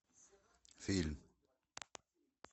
фильм